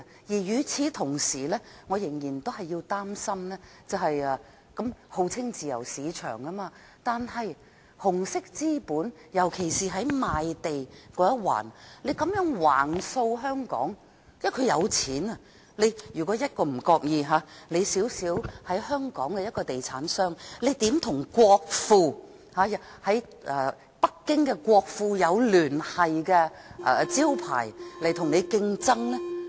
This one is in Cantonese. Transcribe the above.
與此同時，我仍然擔心，香港號稱自由市場，但紅色資本，尤其是在賣地這一環，這樣橫掃香港，因為他們有錢，香港一個小小的地產商，如何與國庫或與北京國庫有聯繫的招牌競爭呢？